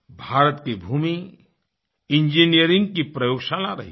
भारत की भूमि इंजीनियरिंग की प्रयोगशाला रही है